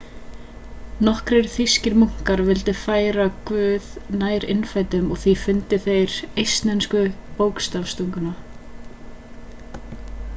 nokkrir þýskir munkar vildu færa guð nær innfæddum og því fundu þeir upp eistnesku bókstafstunguna